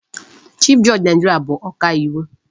Chief judge Naịjirịa bụ ọka iwu.